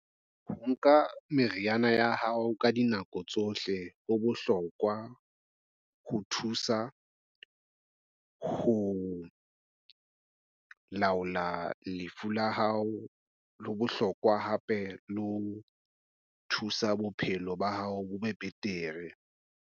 Ho nka meriana ya hao ka dinako tsohle. Ho bohlokwa ho thusa ho laola lefu la hao le bohlokwa hape le ho thusa bophelo ba hao bo be betere.